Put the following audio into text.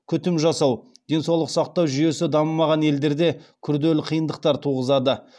күтім жасау денсаулық сақтау жүйесі дамымаған елдерде күрделі қиындықтар туғызады